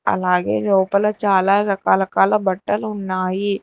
అలాగే లోపల చాలా రకరకాల బట్టలు ఉన్నాయి.